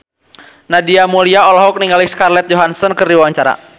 Nadia Mulya olohok ningali Scarlett Johansson keur diwawancara